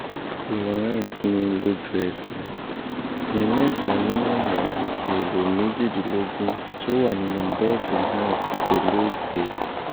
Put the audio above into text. florence ni lójú-ẹsẹ̀ ní mẹ́ta nínú àwọn ẹ̀rọ méjìdínlógún tó wà nínú bọ́ọ̀sì náà ti dolóògbé